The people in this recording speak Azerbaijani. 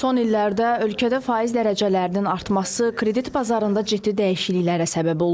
Son illərdə ölkədə faiz dərəcələrinin artması kredit bazarında ciddi dəyişikliklərə səbəb olub.